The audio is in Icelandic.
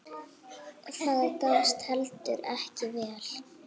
Það gafst heldur ekki vel.